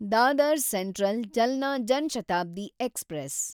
Dadar central Jalna Jan Shatabdi express